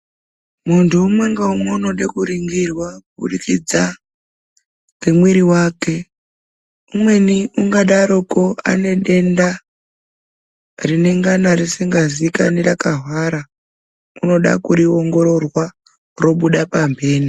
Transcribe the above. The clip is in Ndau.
Munthu umwe ngaumwe ,unoda kuringirwa, kuburikidza ngemwiri wake ,umweni ungadaroko ane denda, rinengana risikazikani, rakahwara ,unoda kuriongororwa robuda pamphene.